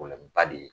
Kɔlɔba de ye